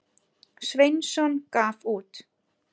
Sveinsson gaf út.